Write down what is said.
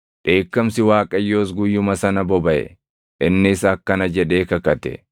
Dheekkamsi Waaqayyoos guyyuma sana bobaʼe; innis akkana jedhee kakate;